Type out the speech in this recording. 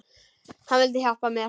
Hann vildi hjálpa mér.